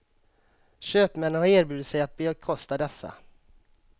Köpmännnen har erbjudit sig att bekosta dessa.